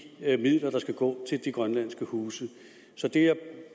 midler der skal gå til de grønlandske huse så det jeg